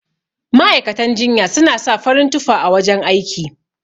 Ma'aikatan jinya suna sa farin tufa a wajan aiki.